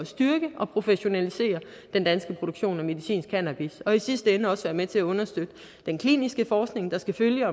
styrke og professionalisere den danske produktion af medicinsk cannabis og i sidste ende også være med til at understøtte den kliniske forskning der skal følge